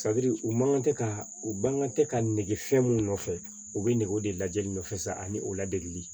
u man kan tɛ ka u ban kan tɛ ka nege fɛn mun nɔfɛ u bɛ ne o de lajɛli nɔfɛ sa ani o ladegeli